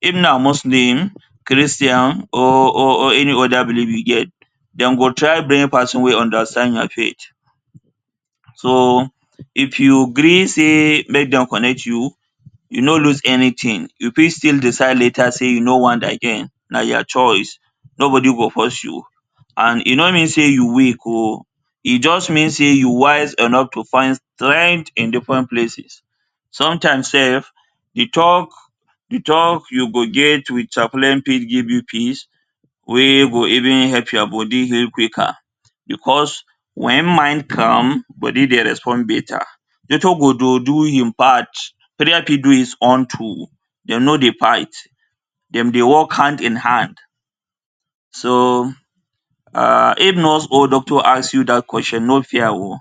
If na muslim, Christian or or or any other believe you get, dem try bring person wey understand your faith so if you gree say make dem connect you, you nor lose anything you fit decide later you nor want again na your choice nobody go force you and nor mean say you weak oh e just me say you wise enough to find strength in different places, sometimes sef the talk, de talk you go get with chaplain fit give you peace wey go even help your body heal quicker because when mind calm body dey respond better. Doctor go dey do e part therapy go do his own too dem nor dey fight dem dey work hand in hand so[um] if nurse or doctor ask you dat question nor fear oh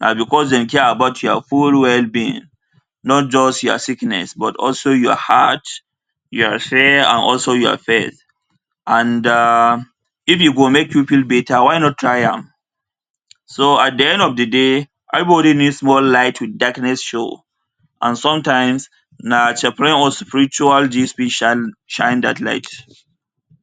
na because dey care about your whole wellbeing not just your sickness but also your heart your affair and also your bed and um if e go make you feel better why not try am so at de end of de day everybody needs a small light with darkness show and sometimes na chaplain or spiritual fit shine shine that light.